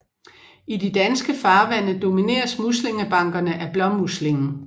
I de danske farvande domineres muslingebankerne af blåmuslingen